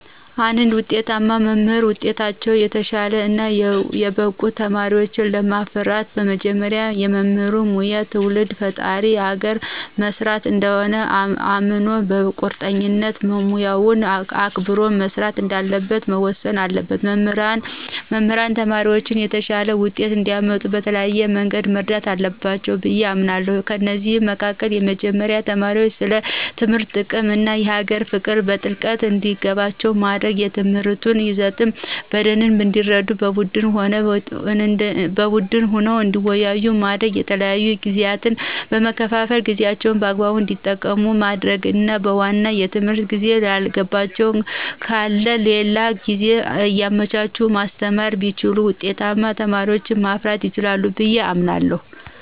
እንድ ውጤታማ መምህር በውጤታቸው የተሻሉ እና የበቁ ተማሪወችን ለማፍራት መጀመሪያ የመምህር ሙያ ትውልድ መፍጠር አገርን መስራት እንደሆነ አምኖ በቁርጠኝነት ሙያውን አክብሮ መስራት እንዳለበት መወሰን አለበት። መምህራን ተማሪዎቻቸውን የተሻለ ውጤት እንዲአመጡ በተለያየ መንገድ መርዳት አለባቸው ብዬ አምናለሁ። ከእነዚህም መካከል የመጀመሪያው ተማሪዎች ስለ ትምህርት ጥቅም እና የሀገር ፍቅር በጥልቀት እንዲገባቸው ማድረግ፣ የትምህርቱን ይዘት በደንብ እንዲረዱት በቡድን ሆነው እንዲወያዩ ማድረግ፣ የተለያዩ ጊዜያትን በመከፋፈል ጊዜአቸውን በአግባቡ እንዲጠቀሙ ማድረግና በዋናው የትምህርት ጊዜ ያልገባቸው ካለ ሌላ ጊዜ እያመቻቹ ማስተማር ቢችሉ ውጤታማ ተማሪዎችን ማፍራት ይችላሉ ብየ አምናለሁ።